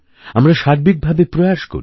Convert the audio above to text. আমরা সার্বিকভাবে প্রয়াস করি